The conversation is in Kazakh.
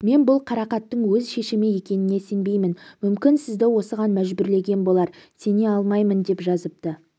мен бұл қарақаттың өз шешімі екеніне сенбеймін мүмкін сізді осыған мәжбүрлеген болар сене алмаймын деп жазыпты